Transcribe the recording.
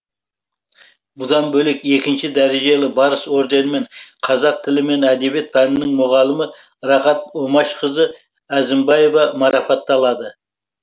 бұдан бөлек екінші дәрежелі барыс орденімен қазақ тілі мен әдебиет пәнінің мұғалімі рахат омашқызы әзімбаева марапатталады